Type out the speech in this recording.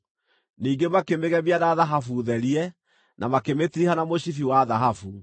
Ningĩ makĩmĩgemia na thahabu therie, na makĩmĩtiriha na mũcibi wa thahabu.